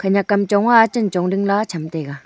aga kam chong ma chan chong dingla cham taiga.